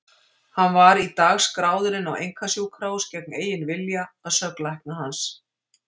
Hann var í dag skráður inn á einkasjúkrahús gegn eigin vilja, að sögn lækna hans.